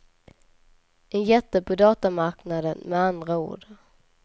En jätte på datamarknaden med andra ord.